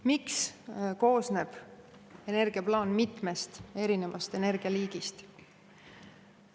Miks koosneb energiaplaan mitmest erinevast energialiigist?